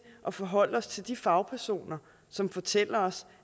at forholde os til de fagpersoner som fortæller os